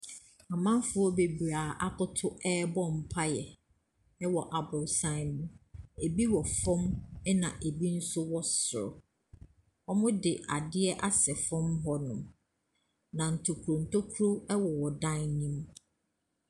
Amanfoɔ bebree a wɔakoto rebɔ mpaeɛ wɔ aborosan no mu. Ebi wɔ fam, ɛnna ebi nso wɔ soro. Wɔde adeɛ asɛ fam hɔnom, na ntokuro ntokuro wowɔ dan no mu.